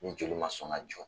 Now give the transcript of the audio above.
Ni joli ma sɔn ka jɔ